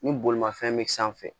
Ni bolimafɛn be sanfɛ